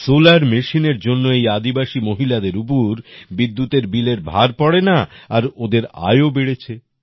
solar Machineএর জন্য এই আদিবাসী মহিলাদের উপর বিদ্যুৎ বিলের ভার পড়ে না আর ওদের আয়ও বেড়েছে